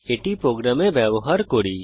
এটি প্রোগ্রামে ব্যবহার করি